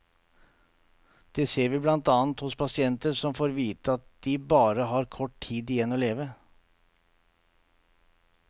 Det ser vi blant annet hos pasienter som får vite at de bare har kort tid igjen å leve.